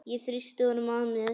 Ég þrýsti honum að mér.